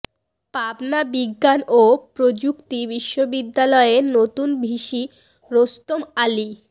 পাবনা বিজ্ঞান ও প্রযুক্তি বিশ্ববিদ্যালয়ের নতুন ভিসি রোস্তম আলী